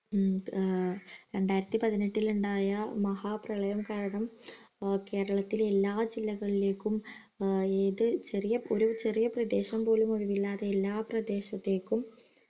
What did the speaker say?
മ് ആഹ് രണ്ടായിരത്തി പതിനെട്ടില്ണ്ടായ മഹാ പ്രളയം കാരണം കേരളത്തിലെ എല്ലാ ജില്ലകളിലേക്കും ഏതു ചെറിയ ഒരു ചെറിയ പ്രദേശം പോലും ഒഴിവില്ലാതെ എല്ലാ പ്രദേശത്തേക്കും